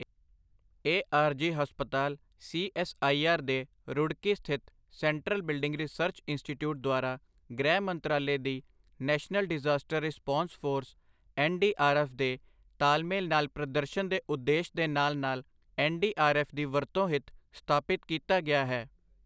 ਇਹ ਆਰਜ਼ੀ ਹਸਪਤਾਲ ਸੀਐੱਸਆਈਆਰ ਦੇ ਰੁੜਕੀ ਸਥਿਤ ਸੈਂਟਰਲ ਬਿਲਡਿੰਗ ਰਿਸਰਚ ਇੰਸਟੀਟਿਊਟ ਦੁਆਰਾ ਗ੍ਰਹਿ ਮੰਤਰਾਲੇ ਦੀ national disaster response force NDRF ਦੇ ਤਾਲਮੇਲ ਨਾਲ ਪ੍ਰਦਰਸ਼ਨ ਦੇ ਉਦੇਸ਼ ਦੇ ਨਾਲ ਨਾਲ ਐੱਨਡੀਆਰਐੱਫ ਦੀ ਵਰਤੋਂ ਹਿਤ ਸਥਾਪਿਤ ਕੀਤਾ ਗਿਆ ਹੈ।